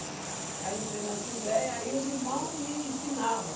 Aí entrei na assembleia, aí os irmãos me ensinava.